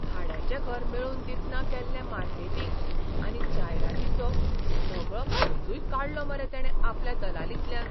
भाड्याचें घर मेळोवन दितना केल्लें मार्केटिंग आनी जायरातीचो सगळो खर्चूय काडलो मरे तेणे आपले दलालींतल्यान!